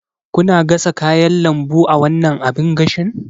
Kuna gasa kayan lambu a wannan abin gashin?